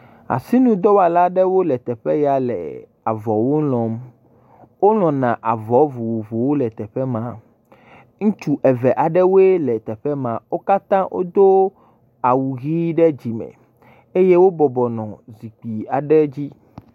Asinudɔwɔla aɖewo le teƒe ya le avɔwo lɔ̃m. Wolɔ̃na avɔ vovovowo le teƒe ma hã. Ŋutsu eve aɖewoe le teƒe ma. Wo katã wodo awu ʋi ɖe dzi me eye wo bɔbɔnɔ zikpui aɖe dzi.